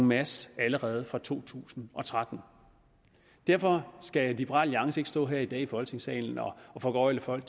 masse allerede fra to tusind og tretten derfor skal liberal alliance ikke stå her i dag i folketingssalen og foregøgle folk